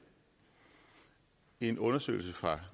en undersøgelse fra